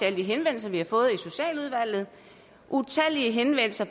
alle de henvendelser vi har fået i socialudvalget utallige henvendelser